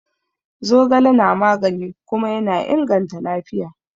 Zogale na magani kuma yana inganta lafiya.